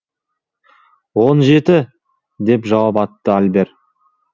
он жеті деп жауап қатты альбер